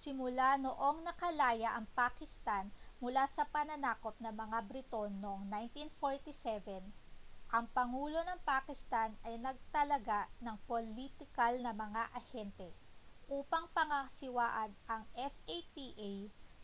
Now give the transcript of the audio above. simula noong nakalaya ang pakistan mula sa pananakop ng mga briton noong 1947 ang pangulo ng pakistan ay nagtalaga ng politikal na mga ahente upang pangasiwaan ang fata